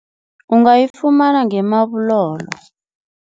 Ungayifumana nge-Marble Hall.